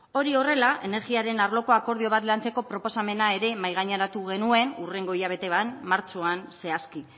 hori horrela energiaren arloko akordio bat lantzeko proposamena ere mahaigaineratu genuen hurrengo hilabetean martxoan zehazki